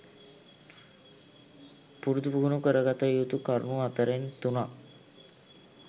පුරුදු පුහුණු කරගත යුතු කරුණු අතරෙන් තුනක්